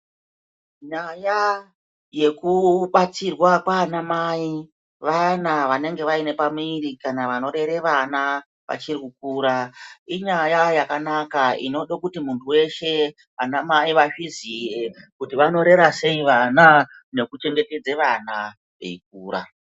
Nyaya yekubatsirwa kwaanamai vayana vanenge vaine pamiri kana vanorera vana vachiri kukura. Inyaya yakanaka inoda kuti muntu weshe anamai vazviziye kuti vanorera sei vana nekuchengetedze vana veikura.